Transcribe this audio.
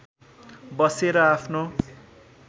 बसेर आफ्नो